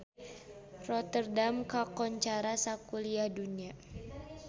Rotterdam kakoncara sakuliah dunya